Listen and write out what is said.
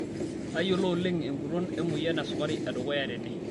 Tayiolo oleng enguton emoyian esukari edukuya tene.